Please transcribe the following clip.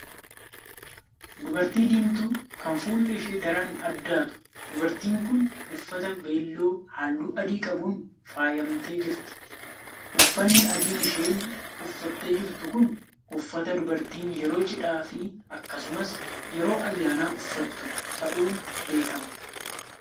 Dubartii diimtuu kan fuulli ishee daran addaatu. Dubartiin kun uffata beelloo halluu adii qabuun faayamtee jirti. Uffanni adiin isheen uffattee jirtu kun uffata dubartiin yeroo cidhaa fi akkasumas yeroo ayyaanaa uffattu ta'uun beekama.